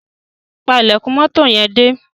Pa ílèkùn moto yen dé.